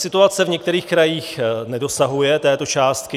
Situace v některých krajích nedosahuje této částky.